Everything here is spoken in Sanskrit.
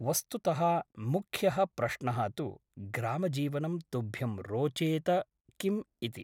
वस्तुतः मुख्यः प्रश्नः तु ग्रामजीवनं तुभ्यं रोचेत किम् इति ।